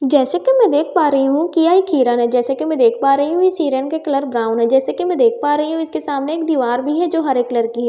जैसे कि मैं देख पा रही हूं कि यह एक हिरन है जैसे कि मैं देख पा रही हूं की इस हिरण के कलर ब्राउन है जैसे कि मैं देख पा रही हूं इसके सामने दीवार भी है जो हरे कलर की है।